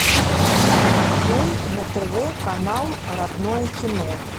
открой на тв канал родное кино